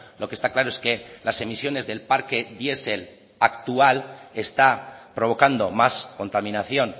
lo que está claro es que las emisiones del parque diesel actual está provocando más contaminación